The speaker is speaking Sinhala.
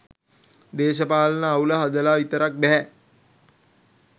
දේශපාලන අවුල හදලා විතරක් බැහැ.